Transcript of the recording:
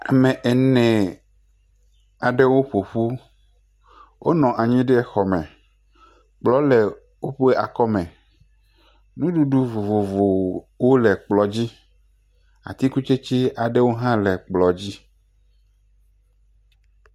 Ame ene aɖewo ƒo ƒu, wonɔ anyi ɖe xɔ me, kplɔ le woƒe akɔme, nuɖuɖu vovovowo le kplɔ dzi, atikutsetse aɖewo hã le kplɔ dzi.